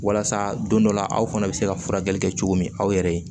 Walasa don dɔ la aw fana bɛ se ka furakɛli kɛ cogo min aw yɛrɛ ye